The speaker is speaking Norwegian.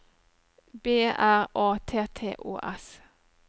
B R A T T Å S